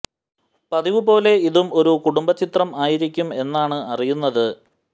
പതിവു പോലെ ഇതും ഒരു കുടുംബ ചിത്രം ആയിരിക്കും എന്നാണ് അറിയുന്നത്